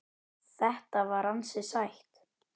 Þetta var ansi sætt.